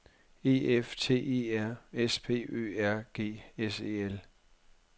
E F T E R S P Ø R G S E L